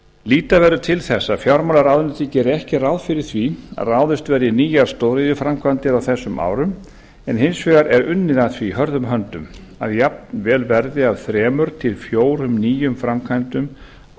líta verður til þess að fjármálaráðuneytið gerir ekki ráð fyrir því að ráðist verði í nýjar stóriðjuframkvæmdir á þessum árum en hins vegar er unnið að því hörðum höndum að jafnvel verði af þremur til fjórum nýjum framkvæmdum